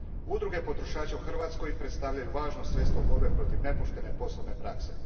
Udruge potrošača u Hrvatskoj predstavljaju važno sredstvo borbe protiv nepoštene poslovne prakse.